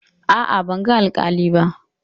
A'a, ban ga alƙali ba.